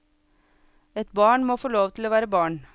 Et barn må få lov til å være barn.